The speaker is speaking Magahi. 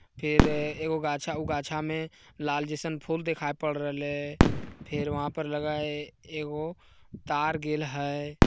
फेर-र एगो गाछा में ऊ गाछा में लाल जैसन फुल दिखय पड़ रहले। फिर वहाँ पर लगई एगो तार गैल है।